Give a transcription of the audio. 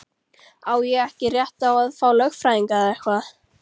Á ég ekki rétt á að fá lögfræðing eða eitthvað?